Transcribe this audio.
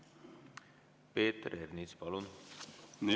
Peeter Ernits, palun!